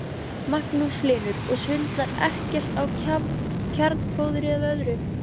Magnús Hlynur: Og svindlar ekkert á kjarnfóðri eða öðru?